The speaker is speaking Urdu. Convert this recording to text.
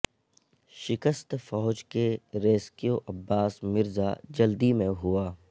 شکست فوج کے ریسکیو عباس مرزا جلدی میں ہوا